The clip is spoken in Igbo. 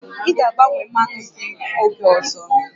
Ị ga-agbanwe mmanụ gị oge ọzọ?